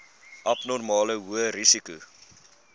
abnormale hoë risiko